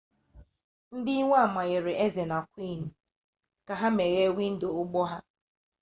ndị iwe a manyere eze na queen ka ha meghee windo ụgbọ ha